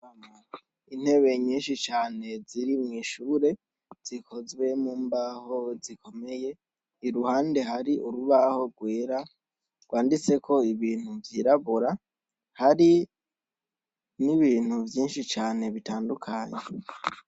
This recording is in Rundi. Ama intebe nyinshi cane ziri mw'ishure zikozwe mu mbaho zikomeye i ruhande hari urubaho rwera rwanditse ko ibintu vyirabora hari n'ibintu vyinshi cane bitandukanye.